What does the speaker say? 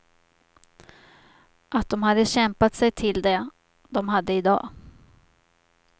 Att de hade kämpat sig till det de hade idag.